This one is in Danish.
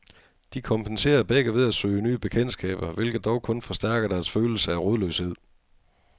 De kompenserer begge ved at søge nye bekendtskaber, hvilket dog kun forstærker deres følelse af rodløshed.